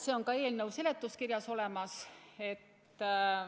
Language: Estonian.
See on ka eelnõu seletuskirjas olemas.